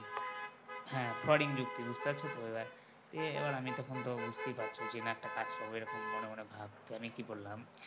হ্যাঁ frauding যুক্তি বুঝতে পারছো তো এইবার তো দিয়ে আমি তখন তো বুঝতেই পারছো যে না একটা কাজ এরকম মনে মনে ভাব আমি কি বললাম